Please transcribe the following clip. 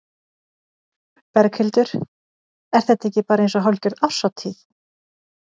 Berghildur: Er þetta ekki bara eins og hálfgerð árshátíð?